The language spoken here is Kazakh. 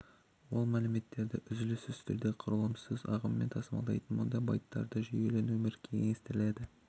ол мәліметтерді үзіліссіз түрде құрылымсыз ағыммен тасымалдайды мұнда байттардың жүйелі нөмір теңестіріледі